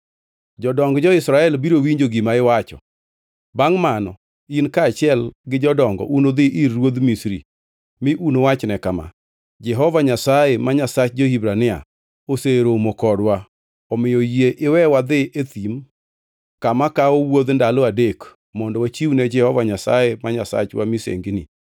“Jodong jo-Israel biro winjo gima iwacho. Bangʼ mano in kaachiel gi jodongo unudhi ir ruodh Misri mi uwachne kama: ‘Jehova Nyasaye, ma Nyasach jo-Hibrania oseromo kodwa. Omiyo yie iwe wadhi e thim kama kawo wuodh ndalo adek mondo wachiwne Jehova Nyasaye ma Nyasachwa misengini.’